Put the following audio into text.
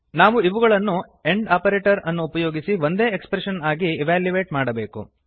ನಾವು ಇವುಗಳನ್ನು and operator ಅನ್ನು ಉಪಯೋಗಿಸಿ ಒಂದೇ ಎಕ್ಸ್ಪ್ರೆಶನ್ ಆಗಿ ಇವ್ಯಾಲ್ಯುಯೇಟ್ ಮಾಡಬೇಕು